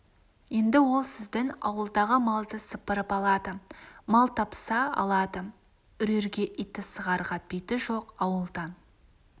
енді ол сіздің ауылдағы малды сыпырып алады мал тапса алады үрерге иті сығарға биті жоқ ауылдан